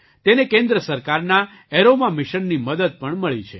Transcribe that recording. તેને કેન્દ્ર સરકારના એરોમા મિશનની મદદ પણ મળી છે